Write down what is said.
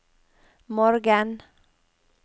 morgen